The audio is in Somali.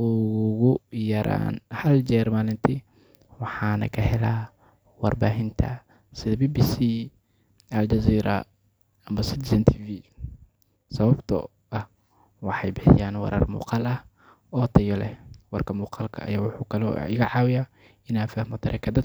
ugu yaraan hal jeer maalintii, waana ka helaa warbaahinta sida BBC, Al Jazeera, ama Citizen TV sababtoo ah waxay bixiyaan warar muuqaal ah oo tayo leh. Warka muuqaalka ah wuxuu kaloo iga caawiyaa in aan fahmo dareenka dadka.